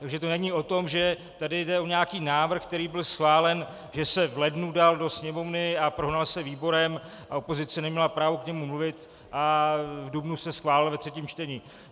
Takže to není o tom, že tady jde o nějaký návrh, který byl schválen, že se v lednu dal do Sněmovny a prohnal se výborem a opozice neměla právo k němu mluvit a v dubnu se schválil ve třetím čtení.